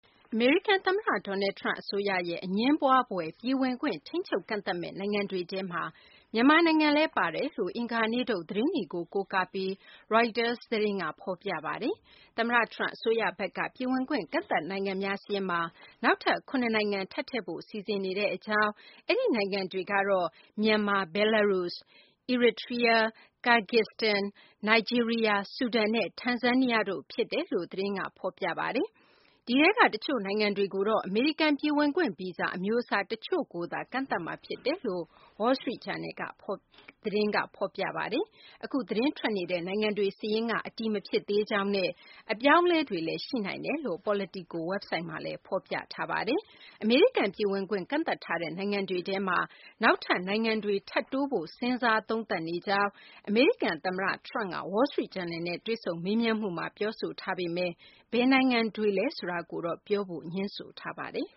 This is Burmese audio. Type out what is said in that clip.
အမေရိကန် သမ္မတ Donald Trump အစိုးရရဲ့ အငြင်းပွားဖွယ် ပြည်ဝင်ခွင့် ထိန်းချုပ် ကန့်သတ်မယ့် နိုင်ငံတွေထဲမှာ မြန်မာနိုင်ငံလည်း ပါဝင်တယ်လို့ အင်္ဂါနေ့ထုတ် သတင်းတွေကို ကိုးကားပြီး ရိုက်တာ သတင်းက ဖော်ပြပါတယ်။ သမ္မတ Trump အစိုးရဘက်က ပြည်ဝင်ခွင့် ကန့်သတ်နိုင်ငံများ စာရင်းမှာ နောက်ထပ် ၇ နိုင်ငံ ထပ်ထည့်ဖို့ စီစဉ်နေကြောင်း၊ အဲဒီ နိုင်ငံတွေကတော့ မြန်မာ၊ Belarus၊ Eritrea၊ Kyrgyzstan၊ Nigeria ၊ Sudan နဲ့ Tanzania တို့ ဖြစ်တယ်လို့ သတင်းက ဖော်ပြပါတယ်။ ဒီထဲက တချို့ နိုင်ငံတွေကိုတော့ အမေရိကန် ပြည်ဝင်ခွင့် ဗီဇာ အမျိုးအစား တချို့ကိုသာ ကန့်သတ်မှာ ဖြစ်တယ်လို့ Wall Street Journal သတင်းဖော်ပြပါတယ်။ အခု သတင်းထွက်နေတဲ့ နိုင်ငံတွေ စာရင်းကတော့ အတည်မဖြစ်သေးကြောင်းနဲ့ အပြောင်းအလဲတွေလည်း ရှိနိုင်တယ်လို့ Politico ဝက်ဘ်ဆိုက်မှာ ဖော်ပြထားပါတယ်။ အမေရိကန် ပြည်ဝင်ခွင့် ကန်သတ်ထားတဲ့ နိုင်ငံတွေထဲမှာ နောက်ထပ် နိုင်ငံတွေ ထပ်တိုးဖို့ စဉ်းစားသုံးသပ်နေကြောင်း အမေရိကန် သမ္မတ Trump က Wall Street Journal နဲ့ တွေ့ဆုံမေးမြန်းမှုမှာ ပြောဆိုထားပေမယ့် ဘယ်နိုင်ငံတွေလည်း ဆိုတာကိုတော့ ပြောဖို့ ငြင်းဆိုထားပါတယ်